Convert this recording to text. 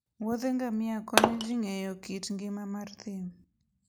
woudh ngamia konyo ji ng'eyo kit ngima mar thim